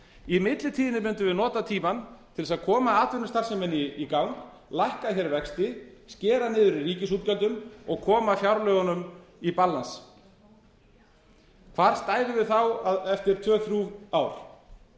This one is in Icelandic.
í millitíðinni mundum við nota tímann til sé að koma atvinnustarfseminni í gang lækka hér vexti skera niður í ríkisútgjöldum og koma fjárlögunum í balance hvar stæðum við þá eftir tvö þrjú ár